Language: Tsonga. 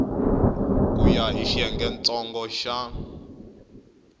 ku ya hi xiyengentsongo xa